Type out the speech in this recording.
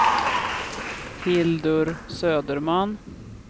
Hildur Söderman